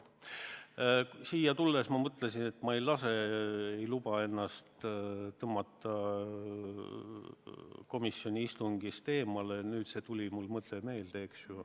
Siia tulles ma mõtlesin, et ma ei luba ennast tõmmata komisjoni istungil räägitust eemale, nüüd aga see asi tuli mulle meelde.